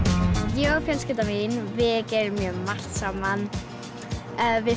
ég og fjölskylda mín við gerum margt saman við